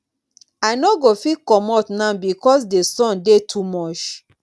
i no go fit comot now because di sun dey too much.